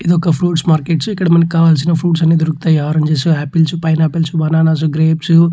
ఇదొక fruits market . ఇక్కడ మనకి కావాల్సిన ఫ్రూప్ట్స్ అన్ని దొరుకుతాయి. Orange apples pineapples bananas grapes --